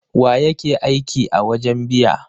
Wa yake aiki a wajen biya?